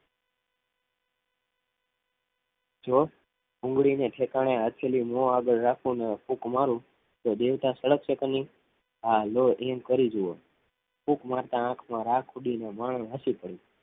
જો ભૂંગળી ઠેકાણે હથેળી રાખી મો આગળ રાખીને ફૂંક મારુ તો દેવતા સળગશે કે નહી હા લો એમ કરી જુઓ ફૂંક મારતા આંખમાં રાખ ઉડીને મણ હાચી પડી